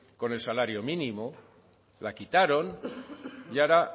con el salario mínimo la quitaron y ahora